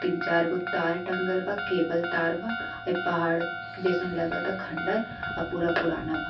तीन चार गो तार टंगल बा केबल तार बा एक पहाड़ जइसन लगता खंडर आ पूरा पुराना बा।